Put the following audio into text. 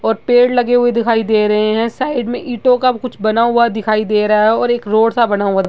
और पेड़ लगे हुए दिखाई दे रहे है साइड में ईंटो का कुछ बना हुआ दिखाई दे रहा है और एक रोड सा बना हुआ है।